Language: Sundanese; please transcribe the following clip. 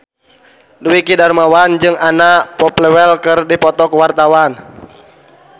Dwiki Darmawan jeung Anna Popplewell keur dipoto ku wartawan